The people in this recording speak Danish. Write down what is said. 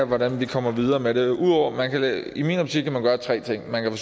hvordan vi kommer videre med det i min optik kan man gøre tre ting man kan